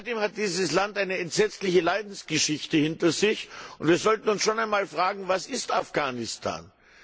Seitdem hat dieses Land eine entsetzliche Leidensgeschichte hinter sich, und wir sollten uns einmal fragen Was ist Afghanistan?